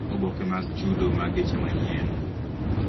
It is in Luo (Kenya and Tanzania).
Risits mag geche manyien